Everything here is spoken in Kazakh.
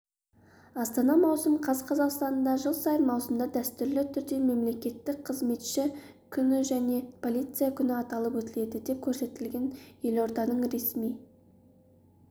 астана маусым қаз қазақстанда жыл сайын маусымда дәстүрлі түрде мемлекеттік қызметші күні және полиция күні аталып өтіледі деп көрсетілген елорданың ресми